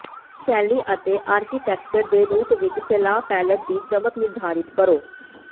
ਫਿਰ ਸ਼ੈਲੀ ਅਤੇ ਆਰਕੀਟੈਕਚਰ ਦੇ ਰੂਪ ਵਿਚ ਫੈਲਾਅ ਪੈਲੇਟ ਦੀ ਚਮਕ ਨਿਰਧਾਰਤ ਕਰੋ